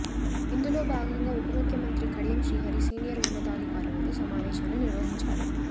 ఇందులో భాగంగా ఉప ముఖ్యమంత్రి కడియం శ్రీహరి సీనియర్ ఉన్నతాధికారులతో సమావేశాన్ని నిర్వహించారు